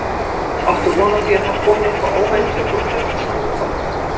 Áttu von á því að það komi eitthvað óvænt upp úr kjörkössunum í kvöld?